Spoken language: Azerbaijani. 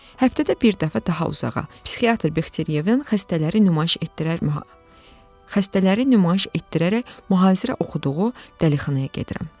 Həftədə bir dəfə daha uzağa, psixiatr Bexterevin xəstələri nümayiş etdirərək mühazirə oxuduğu dəlixanaya gedirəm.